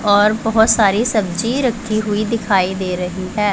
और बहोत सारी सब्जी रखी हुई दिखाई दे रही है।